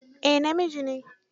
Eh, namiji ne?